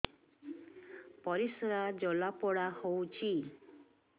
ପରିସ୍ରା ଜଳାପୋଡା ହଉଛି